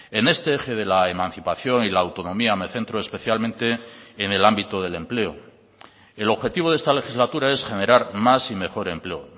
en este eje de la emancipación y la autonomía me centro especialmente en el ámbito del empleo el objetivo de esta legislatura es generar más y mejor empleo